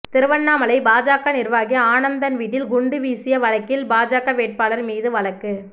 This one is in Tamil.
திருவண்ணாமலை பாஜக நிர்வாகி ஆனந்தன் வீட்டில் குண்டு வீசிய வழக்கில் பாஜக வேட்பாளர் மீது வழக்கு